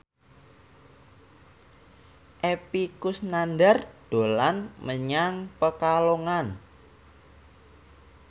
Epy Kusnandar dolan menyang Pekalongan